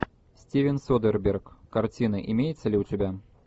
стивен содерберг картины имеется ли у тебя